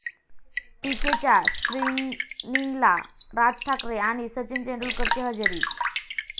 पीके'च्या स्क्रिनिंगला राज ठाकरे आणि सचिन तेंडुलकरची हजेरी